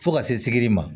Fo ka se sigili ma